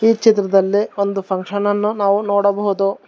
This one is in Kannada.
ಈ ಚಿತ್ರದಲ್ಲೇ ಒಂದು ಫಂಕ್ಷನ್ ಅನ್ನು ನಾವು ನೋಡಬಹುದು.